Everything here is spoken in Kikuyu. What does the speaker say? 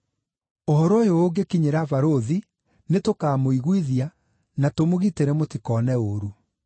Ũhoro ũyũ ũngĩkinyĩra barũthi, nĩtũkamũiguithia, na tũmũgitĩre mũtikone ũũru.”